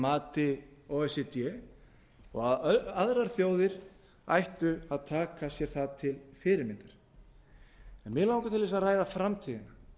mati o e c d og aðrar þjóðir ættu að taka sér það til fyrirmyndar mig langar til að ræða framtíðina